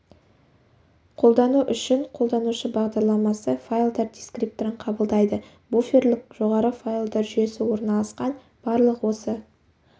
қолдану үшін қолданушы бағдарламасы файлдар дискрипторын қабылдайды буферлік жоғары файлдар жүйесі орналасқан барлық осы